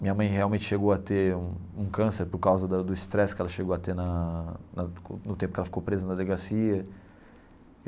Minha mãe realmente chegou a ter um um câncer por causa da do estresse que ela chegou a ter na na no tempo que ela ficou presa na delegacia.